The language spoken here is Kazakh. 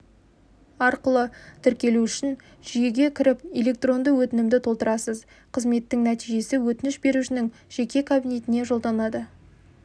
арқылы тіркелу үшін жүйеге кіріп электронды өтінімді толтырасыз қызметтің нәтижесі өтініш берушінің жеке кабинетіне жолданады